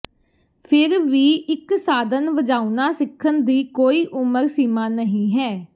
ਫਿਰ ਵੀ ਇਕ ਸਾਧਨ ਵਜਾਉਣਾ ਸਿੱਖਣ ਦੀ ਕੋਈ ਉਮਰ ਸੀਮਾ ਨਹੀਂ ਹੈ